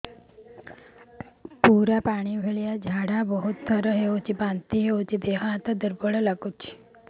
ପୁରା ପାଣି ଭଳିଆ ଝାଡା ବହୁତ ଥର ହଉଛି ବାନ୍ତି ହଉଚି ଦେହ ହାତ ଦୁର୍ବଳ ଲାଗୁଚି